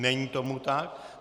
Není tomu tak.